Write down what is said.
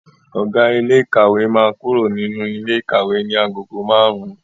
Ọ̀gá ilé ìkàwé máa kúrò nínú ilé ikawe ní agogo márùn-ún.